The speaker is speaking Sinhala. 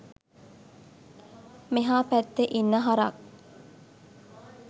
මෙහා පැත්තෙ ඉන්න හරක්